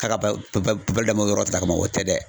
K'a ka balo d'a ma yɔrɔ sara kama, o tɛ dɛ.